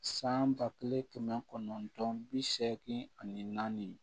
San ba kelen kɛmɛ kɔnɔntɔn bi seegin ani naani